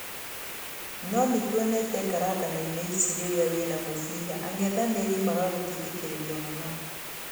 No nĩtwonete ngaranganoinĩ ici rĩrĩa wĩna mũbira ang'ethanĩri magagutindĩkĩrĩria mũno.